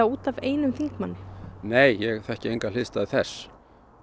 út af einum þingmanni nei ég þekki enga hliðstæðu þess